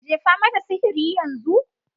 Jifa mata sihiri yanzu.